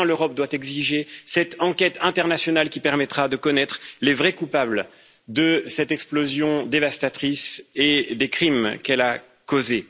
Enfin, l'Europe doit exiger cette enquête internationale qui permettra de connaître les vrais coupables de cette explosion dévastatrice et des crimes qu'elle a causés.